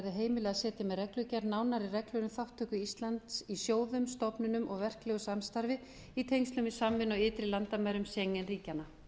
heimilað að setja með reglugerð nánari reglur um þátttöku íslands í sjóðum stofnunum og verklegu samstarfi í tengslum við samvinnu á ytri landamærum schengen ríkjanna